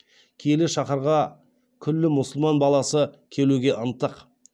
киелі шаһарға күллі мұсылман баласы келуге ынтық